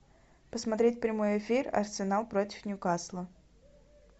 посмотреть прямой эфир арсенал против ньюкасла